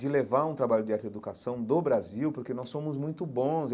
De levar um trabalho de arte e educação do Brasil, porque nós somos muito bons.